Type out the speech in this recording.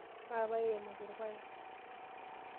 Maape airemoki irpaek.